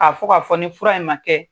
fɔ ka fɔ ni fura in man kɛ.